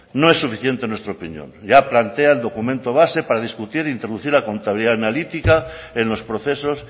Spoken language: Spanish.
no es suficiente en nuestra opinión ya plantea el documento base para discutir e introducir la contabilidad analítica en los procesos